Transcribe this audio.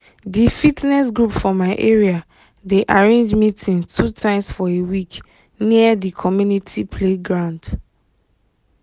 di fitness group for my area dey arrange meeting two times for a week near di community playground